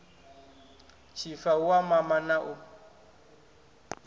tshifa hu u mama na